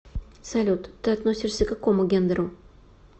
салют ты относишься к какому гендеру